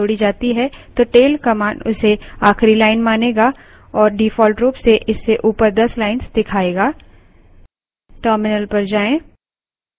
यदि log file में एक नई line जोड़ी जाती है तो tail command उसे आखिरी line मानेगा और default रूप से इससे ऊपर दस lines दिखाएगा